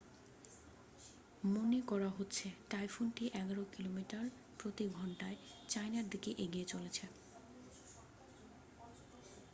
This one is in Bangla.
মনে করা হচ্ছে টাইফুনটি এগারো কিলোমিটার প্রতি ঘণ্টায় চায়নার দিকে এগিয়ে চলেছে